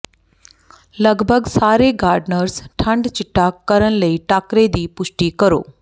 ਲਗਭਗ ਸਾਰੇ ਗਾਰਡਨਰਜ਼ ਠੰਡ ਿਚਟਾ ਕਰਨ ਲਈ ਟਾਕਰੇ ਦੀ ਪੁਸ਼ਟੀ ਕਰੋ